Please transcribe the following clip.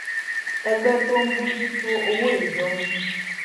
ẹgbẹ́ tó ń bójú tó owó ìjọ ń